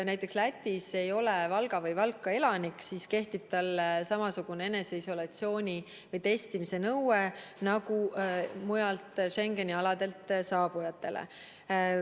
Näiteks, Läti puhul, kui inimene ei ole Valga või Valka elanik, siis kehtib talle samasugune eneseisolatsiooni või testimise nõue nagu mujalt Schengeni aladelt saabujatele.